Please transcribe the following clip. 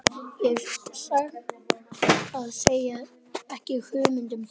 Ég hef satt að segja ekki hugmynd um það.